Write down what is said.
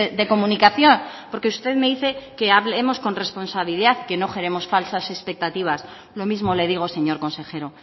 de comunicación porque usted me dice que hablemos con responsabilidad que no generemos falsas expectativas lo mismo le digo señor consejero